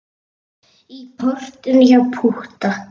Í portinu hjá Pútta.